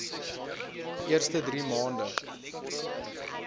eerste drie maande